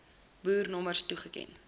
boer nommers toeken